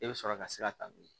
E bɛ sɔrɔ ka sira ta n'o ye